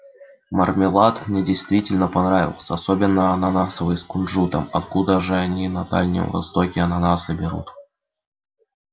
мармелад мне действительно понравился особенно ананасовый с кунжутом откуда же они на дальнем востоке ананасы берут